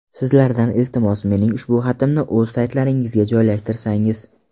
Sizlardan iltimos, mening ushbu xatimni o‘z saytlaringizga joylashtirsangiz.